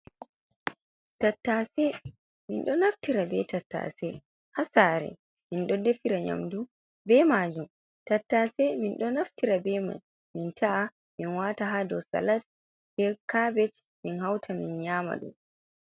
Tattase miɗo naftira be-tattase ha sare min ɗo defira nyamdu ɓe majum tattase min ɗo naftira be mai min ta’a min wata ha ɗou salat ɓe kabej min hauta min nyama ɗum.